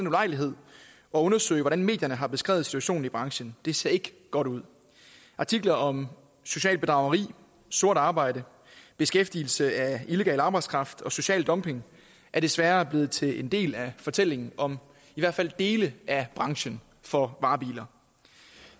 ulejlighed at undersøge hvordan medierne har beskrevet situationen i branchen det ser ikke godt ud artikler om socialt bedrageri sort arbejde beskæftigelse af illegal arbejdskraft og social dumping er desværre blevet til en del af fortællingen om i hvert fald dele af branchen for varebiler